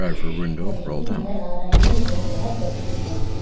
पौधे भी नजर आ रहे है बहुत बड़ा पेट्रोल टैंक है।